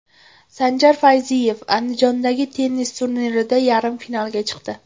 Sanjar Fayziyev Andijondagi tennis turnirida yarim finalga chiqdi.